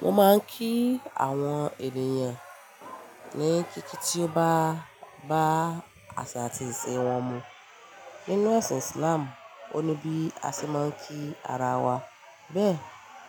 Mo máa ń kí àwọn ènìyàn ní kí kí kí bá bá àṣà àti ìṣe wọn mu. Nínú ẹ̀sìn Islam, o ní bí a ṣe máa ń kí ara wa, bẹ́ẹ̀